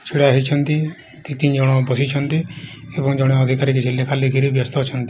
ଛିଡା ହେଇଛନ୍ତି ଦି ତିନି ଜଣ ବସିଛନ୍ତି ଏବଂ ଜଣେ ଅଧିକାରୀ କିଛି ଲେଖାଲେଖିରେ ବ୍ଯସ୍ତ ଅଛନ୍ତି।